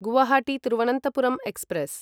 Guwahati Thiruvananthapuram express